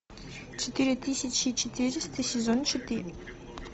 четыре тысячи четыреста сезон четыре